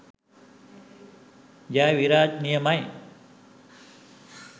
ජය විරාජ් නියමයි